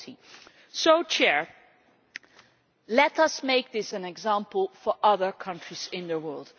40. So let us make this an example for other countries in the world.